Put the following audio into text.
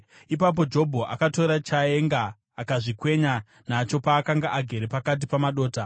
Ipapo Jobho akatora chaenga akazvikwenya nacho paakanga agere pakati pamadota.